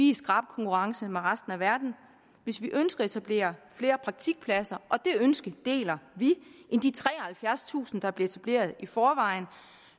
i skarp konkurrence med resten af verden hvis vi ønsker at etablere flere praktikpladser og det ønske deler vi end de treoghalvfjerdstusind der er blevet etableret i forvejen